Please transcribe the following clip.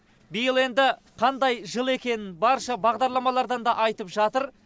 биыл енді қандай жыл екенін барша бағдарламалардан да айтып жатыр